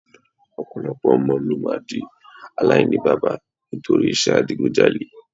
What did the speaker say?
Ọ̀pọ̀lọpọ̀ ọmọ ló máa di aláìníbaba nítorí iṣẹ́ adigunjalè